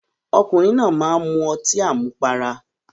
Ọkùnrin náà máá ń mu ọtí àmupara